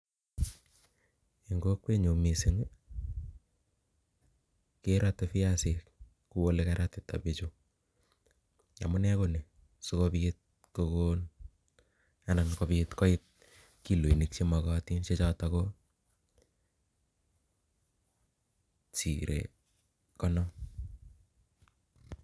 Eng' kokwet nyuu missing, kerate viasik kuole karatita bichuu. Amunee ko ni, sikobiit kogon anan kobit koit kiloinik che makatin che chotok ko sire konom